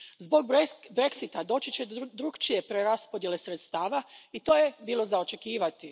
Zbog Brexita doći će do drukčije preraspodjele sredstava i to je bilo za očekivati.